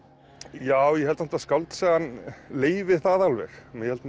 já ég held samt að skáldsagan leyfi það alveg ég held